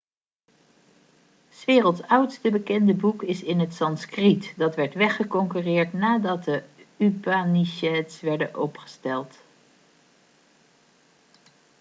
s werelds oudste bekende boek is in het sanskriet dat werd weggeconcurreerd nadat de upanishads werden opgesteld